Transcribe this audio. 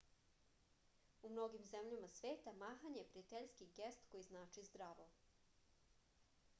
u mnogim zemljama sveta mahanje je prijateljski gest koji znači zdravo